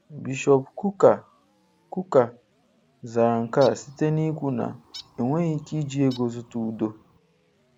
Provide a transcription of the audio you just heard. Bishọp Kukah Kukah zara nke a site n'ikwu na 'enweghị ike iji ego zụta udo'.